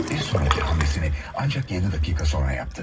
Bir sonrakı hamlesini ancaq 7 dəqiqə sonra yaptı.